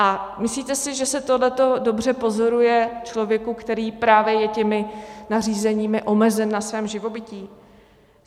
A myslíte si, že se tohleto dobře pozoruje člověku, který právě je těmi nařízeními omezen na svém živobytí?